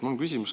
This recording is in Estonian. Mul on küsimus.